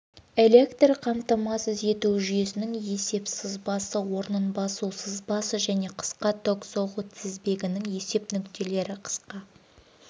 электр қамтамасыз ету жүйесінің есеп сызбасы орнын басу сызбасы және қысқа ток соғу тізбегінің есеп нүктелері қысқа